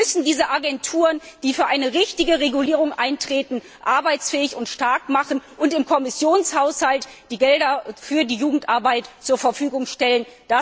Wir müssen diese Agenturen, die für eine richtige Regulierung eintreten, arbeitsfähig und stark machen und im Kommissionshaushalt die Gelder für die Jugendarbeit zur Verfügung stellen.